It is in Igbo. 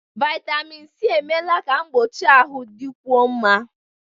Vitamịn Sị emeela ka mgbochi ahụ dịkwuo mma.